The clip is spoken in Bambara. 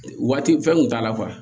Waati fɛn kun t'a la kuwa